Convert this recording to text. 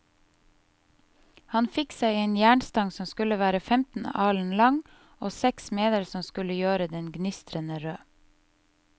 Han fikk seg en jernstang som skulle være femten alen lang, og seks smeder som skulle gjøre den gnistrende rød.